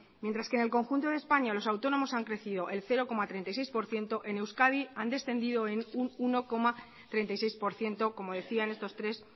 mientras que en el conjunto de españa los autónomos han crecido el cero coma treinta y seis por ciento en euskadi han descendido en un uno coma treinta y seis por ciento como decía en estos tres